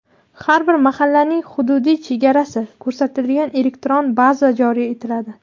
Har bir mahallaning hududiy chegarasi ko‘rsatilgan elektron baza joriy etiladi.